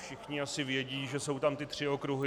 Všichni asi vědí, že jsou tam ty tři okruhy.